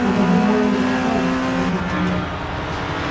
надо думаю ему палец показать для проверки